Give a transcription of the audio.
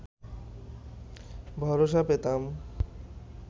ভরসা পেতাম